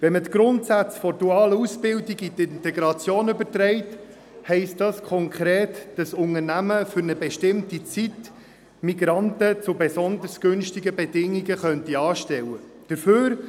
Wenn man die Grundsätze der dualen Ausbildung in die Integration überträgt, heisst dies konkret, dass ein Unternehmen für eine bestimmte Zeit Migranten zu besonders günstigen Bedingungen anstellen könnte.